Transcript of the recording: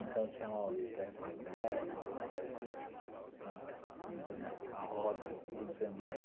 Então tinha lá o trepa-trepa, a a roda, agora não sei o nome.